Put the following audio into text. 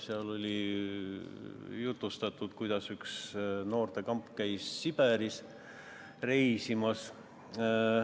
Seal oli jutustatud, kuidas üks noortekamp käis Siberis reisimas.